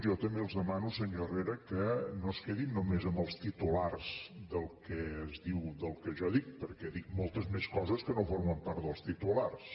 jo també els demano senyor herrera que no es quedin només amb els titulars del que es diu del que jo dic perquè dic moltes més coses que no formen part dels titulars